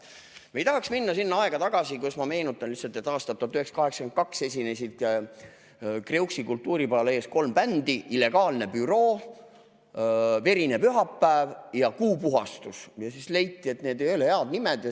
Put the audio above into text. Me ei tahaks minna sinna aega tagasi, aga ma meenutan lihtsalt, et aastal 1982 esinesid Kreuksi kultuuripalees kolm bändi: Illegaalne Büroo, Verine Pühapäev ja Kuupuhastus, ning leiti, et need ei ole head nimed.